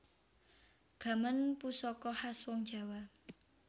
Gaman pusaka khas wong jawa